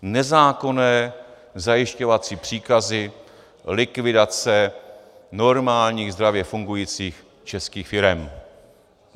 Nezákonné zajišťovací příkazy, likvidace normálních, zdravě fungujících českých firem.